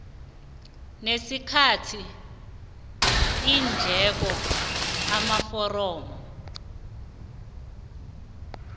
nesikhathi iindleko amaforomo